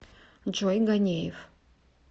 джой ганеев